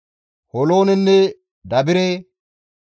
Holoonenne Dabire,